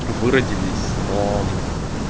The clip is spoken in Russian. вы родились но